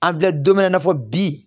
An filɛ don min na i n'a fɔ bi